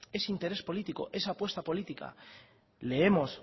es interés político es apuesta política leemos